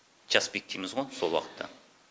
час пик дейміз ғой сол уақытта